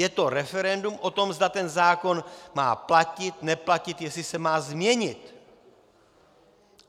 Je to referendum o tom, zda ten zákon má platit, neplatit, jestli se má změnit.